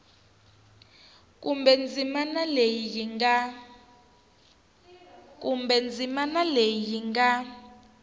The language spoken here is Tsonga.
kumbe ndzimana leyi yi nga